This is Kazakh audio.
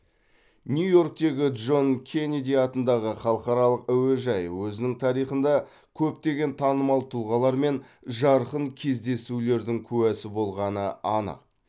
нью иорктегі джон кеннеди атындағы халықаралық әуежайы өзінің тарихында көптеген танымал тұлғалар мен жарқын кездесулердің куәсі болғаны анық